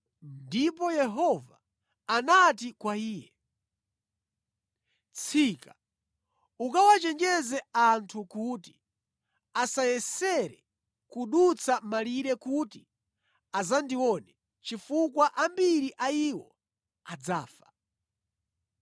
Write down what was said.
ndipo Yehova anati kwa iye, “Tsika ukawachenjeze anthu kuti asayesere kudutsa malire kuti adzandione chifukwa ambiri a iwo adzafa.